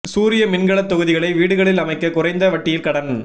சூரிய மின்கலத் தொகுதிகளை வீடுகளில் அமைக்க குறைந்த வட்டியில் கடன்